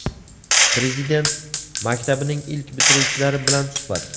Prezident maktabining ilk bitiruvchilari bilan suhbat.